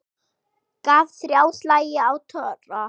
Gaf ÞRJÁ slagi á tromp.